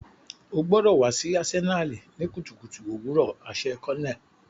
O gbọdọ wa si Asenali ni kutukutu owurọ aṣẹ colonel.